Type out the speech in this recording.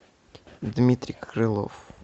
дмитрий крылов